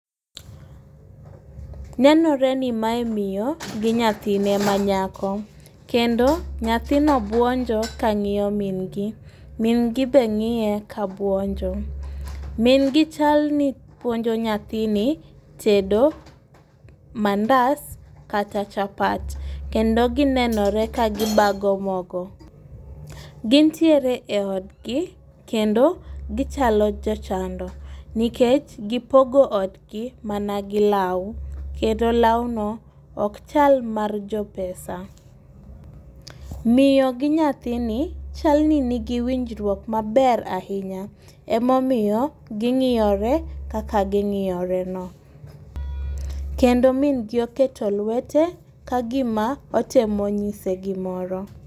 Nenore ni mae miyo gi nyathine manyako, kendo nyathino bwonjo ka ng'iyo min gi, min gi be ng'iye kabuonjo, min gi chalni puonjo nyathini tedo mandas kata chapat, kendo ginenore kagibago mogo, gin tiere e odgi kendo gichalo jochando nikech gipogo odgi mana gi lau kendo launo ok chal mar jo pesa. Miyo gi nyathini chaloni gin gi winjruok maber ahinya emomiyo gingiyore kaka gingiyoreno, kendo mingi oketo lwete kagima otemo nyise gimoro